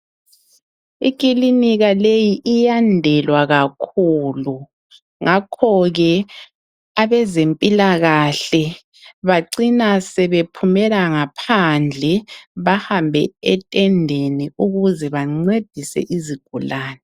Ikilinika leyi iyandelwa kakhulu ngakho ke abezempilakahle bacina sebephumela ngaphandle bahambe etendeni ukuze bancedise izigulani.